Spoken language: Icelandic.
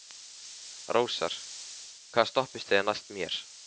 Rósar, hvaða stoppistöð er næst mér?